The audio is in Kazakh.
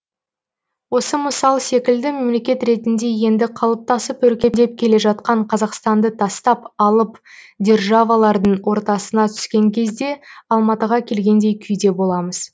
осы мысал секілді мемлекет ретінде енді қалыптасып өркендеп келе жатқан қазақстанды тастап алып державалардың ортасына түскен кезде алматыға келгендей күйде боламыз